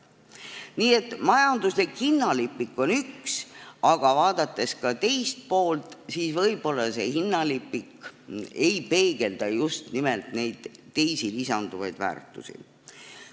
Nii et majanduslik hinnalipik on üks asi, aga vaadates ka teist poolt, siis võib-olla see hinnalipik ei peegelda just nimelt neid teisi, lisanduvaid väärtusi.